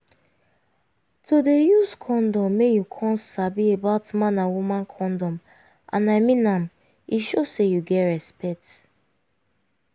to dey use condom make you come sabi about man and woman condom and i mean am e show say you get respect